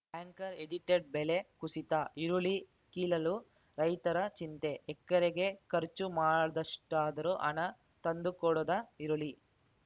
anchor edited ಬೆಲೆ ಕುಸಿತ ಈರುಳ್ಳಿ ಕೀಳಲು ರೈತರ ಚಿಂತೆ ಎಕರೆಗೆ ಖರ್ಚು ಮಾಡಿದಷ್ಟಾದರೂ ಹಣ ತಂದು ಕೊಡದ ಈರುಳ್ಳಿ